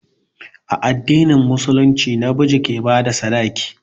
A addinin musulunci na miji ke ba da sadaki.